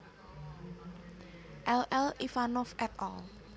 L L Ivanov et al